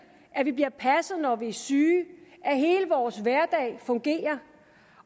at vi bliver passet når vi er syge og at hele vores hverdag fungerer